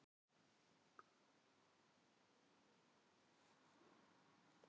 Jósúa, hvernig er veðrið á morgun?